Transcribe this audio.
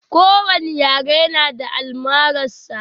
Ko wani yare na da almarar sa